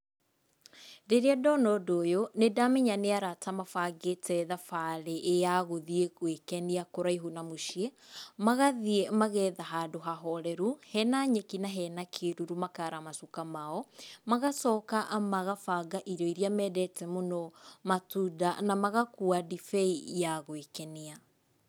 Rĩrĩa ndona ũndũ ũyũ nĩ ndamenya nĩ arata mabangĩte thabarĩ ya gũthiĩ gwĩkenia kũraihu na mũciĩ, magathiĩ magetha handũ hahoreru, hena nyeki na hena kĩruru makaara macuka mao. Magacoka magabanga irio iria mendete mũno, matunda na magakua ndibei ya gwĩkenia.